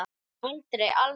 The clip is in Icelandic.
Aldrei, aldrei.